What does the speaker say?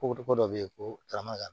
Ko ko ko dɔ bɛ yen ko tarama